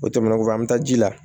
O tɛmɛnen kɔfɛ an mi taa ji la